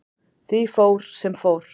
Því fór, sem fór.